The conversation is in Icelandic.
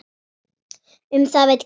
Um það veit Grímur ekkert.